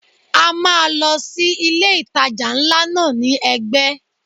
A máa lọ sí ilé ìtajà ńlá náà ní ẹgbẹ́.